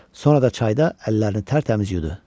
Sonra da çayda əllərini tərtəmiz yudu.